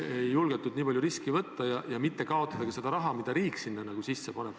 Ei julgetud nii palju riske võtta, et mitte kaotada ka seda raha, mille riik koos inimesega sinna sisse paneb.